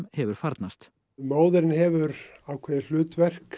hefur farnast móðirin hefur ákveðið hlutverk